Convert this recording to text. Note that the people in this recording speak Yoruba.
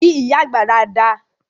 Kí ìyá àgbà dada!